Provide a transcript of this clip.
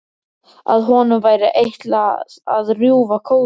Að honum væri ætlað að rjúfa kóðann.